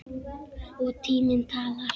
Og tíminn talar.